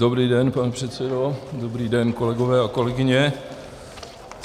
Dobrý den, pane předsedo, dobrý den, kolegové a kolegyně.